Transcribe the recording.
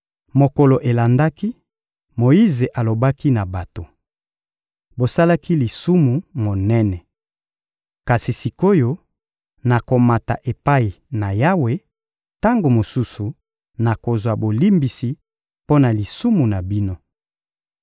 Mokolo elandaki, Moyize alobaki na bato: — Bosalaki lisumu monene. Kasi sik’oyo, nakomata epai na Yawe; tango mosusu, nakozwa bolimbisi mpo na lisumu na bino.